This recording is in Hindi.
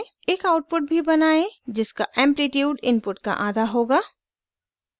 एक आउटपुट भी बनाएं जिसका एम्प्लिट्यूड आयाम इनपुट का आधा होगा